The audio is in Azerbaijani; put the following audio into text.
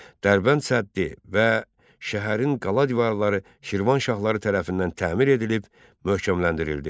Dərbənd səddi və şəhərin qala divarları Şirvanşahları tərəfindən təmir edilib, möhkəmləndirildi.